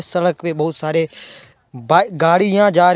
सड़क पे बहुत सारे ब गाड़ियां जा रही--